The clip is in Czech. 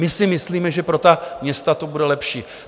My si myslíme, že pro ta města to bude lepší.